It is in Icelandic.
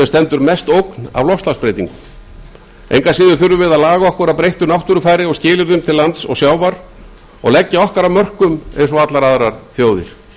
stendur mest ógn af loftslagsbreytingum engu að síður þurfum við að laga okkur að breyttu náttúrufari og skilyrðum til lands og sjávar og leggja okkar af mörkum eins og allar aðrar þjóðir